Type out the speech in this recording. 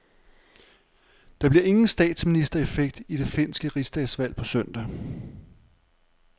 Der bliver ingen statsministereffekt i det finske rigsdagsvalg på søndag.